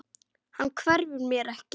Hann hverfur mér ekki.